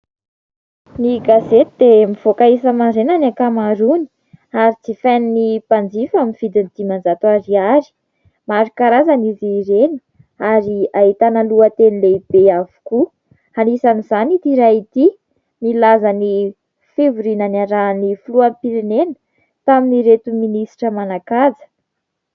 Ny gazety dia mivoaka isa-maraina ny ankamaroany ary jifain'ny mpanjifa aminy vidiny dimanjato ariary. Maro karazany izy ireny ary ahitana lohateny lehibe avokoa, anisan'izany ity iray ity nilaza ny fivoriana niarahan'ny filoham-pirenena tamin'ny ireto minisitra manan-kaja.